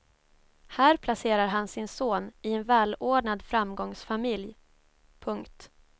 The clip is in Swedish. Här placerar han sin son i en välordnad framgångsfamilj. punkt